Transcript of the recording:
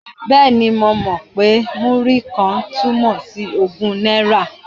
Bẹ́ẹ̀ni, mo mọ̀ pé Múrí-kan túmọ̀ sí ogún náírà.